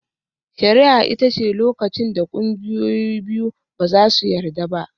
Shari'a ita ce lokacin da ƙungiyoyi biyu ba su yarda ba.